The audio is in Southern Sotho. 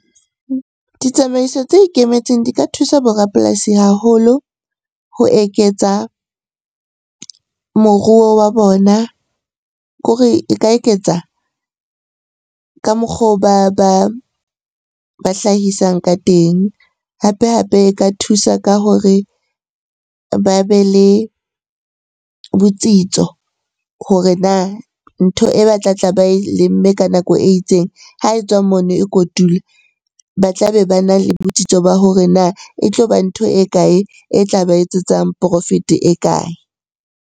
Ditsamaiso tse ikemetseng di ka thusa bo rapolasi haholo ho eketsa moruo wa bona. Ko re e ka eketsa ka mokgo ba hlahisang ka teng. Hape hape e ka thusa ka hore ba be le botsitso hore na ntho e ba tlatla ba e lemme ka nako e itseng, ha e tswa mono e kotula. Ba tla be bana le botsitso ba hore na e tloba ntho e kae e tla ba etsetsang profit-e e kae?